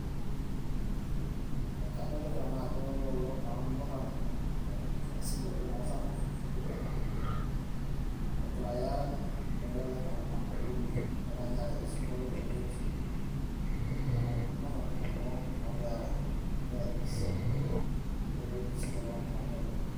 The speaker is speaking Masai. ekadolita naa ajo loolo na ilmurran ee kiasili oleng oo samburr ashu ilturkana oogiray aarany ee kajo keetay naa utamaduni eranyare osinkolio tenewueji neeku ilmurran kulo ogira aarany egira aigis adol ajo igisito ilo murrani oleng.